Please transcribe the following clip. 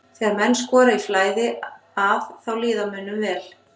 Þegar menn skora í flæði að þá líður mönnum vel.